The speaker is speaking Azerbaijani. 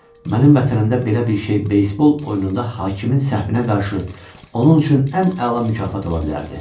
Mənim vətənimdə belə bir şey beysbol oyununda hakimin səhvinə qarşı onun üçün ən əla mükafat ola bilərdi.